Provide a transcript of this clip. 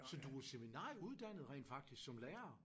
Så du er seminarie uddannet rent faktisk som lærer?